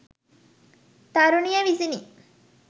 තරුණිය විසිනි.